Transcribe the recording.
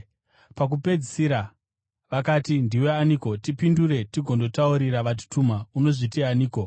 Pakupedzisira vakati, “Ndiwe aniko? Tipindure tigondotaurira vatituma. Unozviti aniko?”